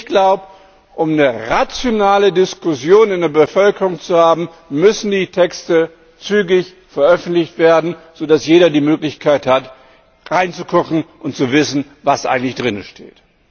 Ich glaube, um eine rationale Diskussion in der Bevölkerung zu haben, müssen die Texte zügig veröffentlicht werden, sodass jeder die Möglichkeit hat, hineinzugucken und zu wissen, was eigentlich darin steht.